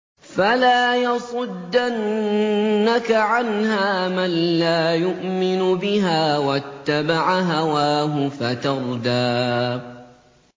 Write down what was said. فَلَا يَصُدَّنَّكَ عَنْهَا مَن لَّا يُؤْمِنُ بِهَا وَاتَّبَعَ هَوَاهُ فَتَرْدَىٰ